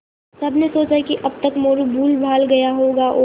सबने सोचा कि अब तक मोरू भूलभाल गया होगा और